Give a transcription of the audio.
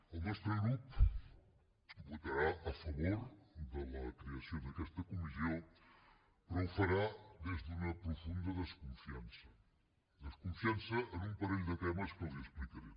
el nostre grup votarà a favor de la creació d’aquesta comissió però ho farà des d’una profunda desconfiança desconfiança en un parell de temes que els explicaré